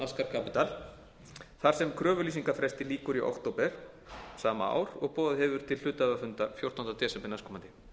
capital þar sem kröfulýsingarfresti lýkur í október sama ár og boðað hefur verið til hluthafafundar fjórtánda desember næstkomandi